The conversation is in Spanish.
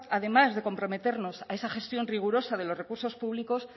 además de comprometernos a esa gestión rigurosa de los recursos públicos